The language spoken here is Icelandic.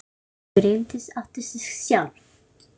Frú Bryndís átti sig sjálf.